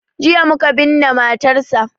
Jiya muka binne matarsa.